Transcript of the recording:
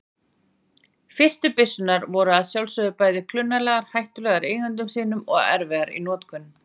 Fyrstu byssurnar voru að sjálfsögðu bæði klunnalegar, hættulegar eigendum sínum og erfiðar í notkun.